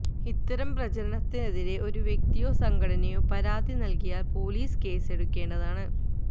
ഇത്തരം പ്രചരണത്തിനെതിരെ ഒരു വ്യക്തിയോ സംഘടനയോ പരാതി നൽകിയാൽ പൊലീസ് കേസെടുക്കേണ്ടതാണ്